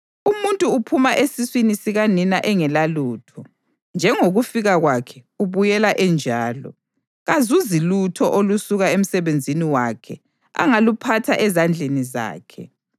Umuntu uphuma esiswini sikanina engelalutho, njengokufika kwakhe ubuyela enjalo. Kazuzi lutho olusuka emsebenzini wakhe angaluphatha ezandleni zakhe.